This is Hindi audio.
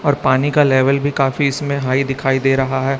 और पानी का लेवल भी काफी इसमें हाई दिखाई दे रहा है।